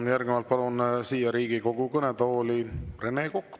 Ja järgnevalt palun Riigikogu kõnetooli Rene Koka.